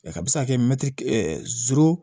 a bɛ se ka kɛ